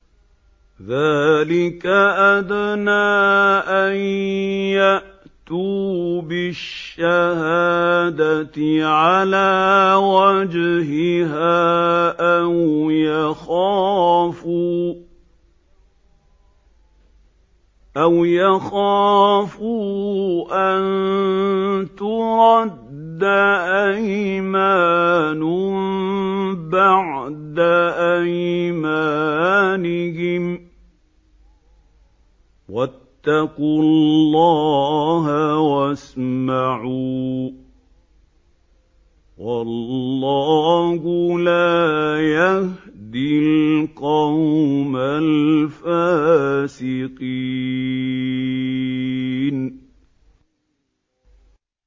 ذَٰلِكَ أَدْنَىٰ أَن يَأْتُوا بِالشَّهَادَةِ عَلَىٰ وَجْهِهَا أَوْ يَخَافُوا أَن تُرَدَّ أَيْمَانٌ بَعْدَ أَيْمَانِهِمْ ۗ وَاتَّقُوا اللَّهَ وَاسْمَعُوا ۗ وَاللَّهُ لَا يَهْدِي الْقَوْمَ الْفَاسِقِينَ